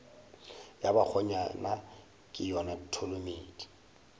ya bakgonyana ke yona tholomedi